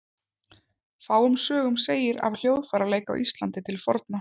Fáum sögum segir af hljóðfæraleik á Íslandi til forna.